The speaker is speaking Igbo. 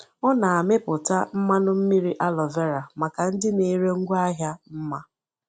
Ọ na-amịpụta mmanụ mmiri aloe vera maka ndị na-ere ngwaahịa mma.